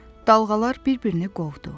Dalğalar bir-birini qovdu.